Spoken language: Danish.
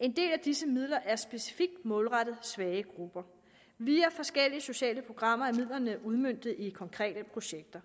en del af disse midler er specifikt målrettet svage grupper via forskellige sociale programmer er midlerne udmøntet i konkrete projekter